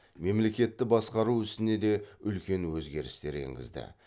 мемлекетті басқару ісіне де үлкен өзгерістер енгізді